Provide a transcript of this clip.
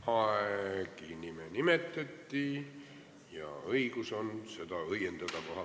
Raivo Aegi nime nimetati ja tal on õigus seda kohapealt õiendada.